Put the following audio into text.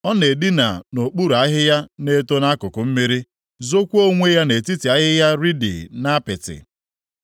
Ọ na-edina nʼokpuru ahịhịa na-eto nʼakụkụ mmiri, zookwa onwe ya nʼetiti ahịhịa riidi nʼapịtị.